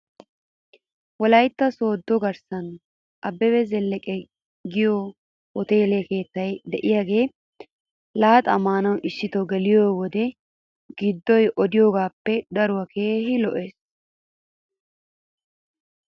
Wolaytta sooddi garssan abebe zeleke giyoo hoteele keettay de'iyaagaa laaxaa maanaw issito geliyoo wode giddoy odiyogoaappe daruwa keehi lo'es .